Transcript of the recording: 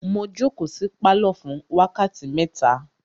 Mo jókòó sí pálọ̀ fún wákàtí mẹ́ta.